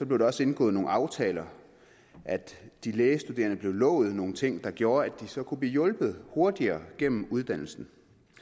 blev der også indgået nogle aftaler de lægestuderende blev lovet nogle ting der gjorde at de så kunne blive hjulpet hurtigere gennem uddannelsen